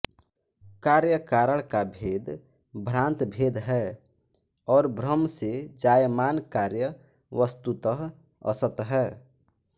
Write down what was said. कार्य कारण का भेद भ्रांत भेद है और भ्रम से जायमान कार्य वस्तुतः असत् है